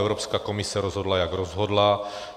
Evropská komise rozhodla, jak rozhodla.